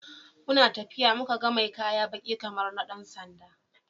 We saw someone with black cloth like police uniform, when we were walking.